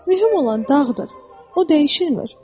Mühüm olan dağdır, o dəyişmir.